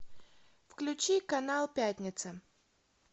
включи канал пятница